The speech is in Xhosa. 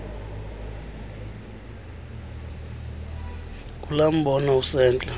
ngulaa mbono usentla